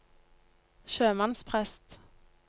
sjømannsprest